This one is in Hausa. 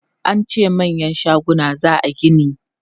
An ce manyan shaguna za a gini.